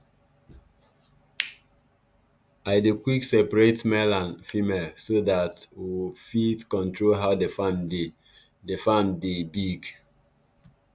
i dey quick searate male and female so that w fit control how the farm dey the farm dey big